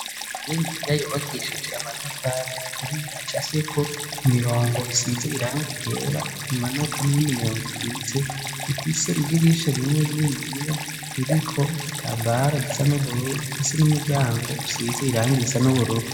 Inzu niniya yubakishije amatafari aturiye acafyeko imirongo isize iranga ryera imanuka n'iyindi mirongo ikitse ifise idirisha rimwe rininiya ririko igitambara gisa n'ubururu ifise n'umuryango usize irangi risa n'ubururu.